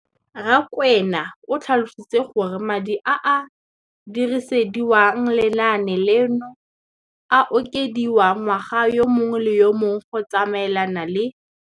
Rakwena o tlhalositse gore madi a a dirisediwang lenaane leno a okediwa ngwaga yo mongwe le yo mongwe go tsamaelana le.